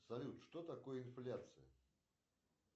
салют что такое инфляция